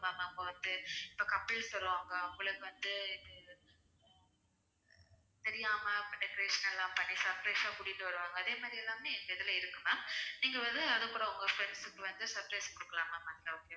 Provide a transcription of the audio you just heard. அவங்க வந்து இப்ப couples வருவாங்க அவங்களுக்கு வந்து தெரியாம இப்ப decoration எல்லாம் பண்ணி surprise ஆ கூட்டிட்டு வருவாங்க அதே மாதிரி எல்லாமே எங்க இதுல இருக்கு ma'am நீங்க வந்து அதுகூட உங்க friends க்கு வந்து surprise குடுக்கலாம் ma'am அங்க okay வா